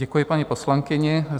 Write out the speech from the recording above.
Děkuji paní poslankyni.